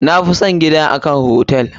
Na fi son gida a kan hotel.